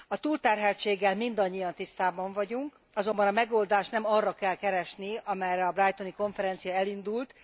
A túlterheltséggel mindannyian tisztában vagyunk, azonban a megoldást nem arra kell keresni, amerre a brightoni konferencia elindult.